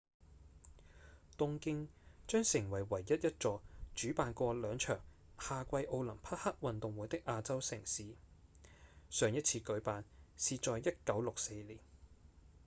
東京將成為唯一一座主辦過兩場夏季奧林匹克運動會的亞洲城市上一次舉辦是在1964年